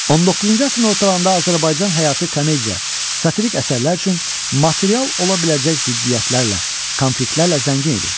19-cu əsrin ortalarında Azərbaycan həyatı komediya, satirik əsərlər üçün material ola biləcək ziddiyyətlərlə, konfliktlərlə zəngin idi.